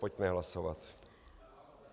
Pojďme hlasovat.